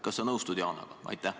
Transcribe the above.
" Kas sa nõustud Yanaga?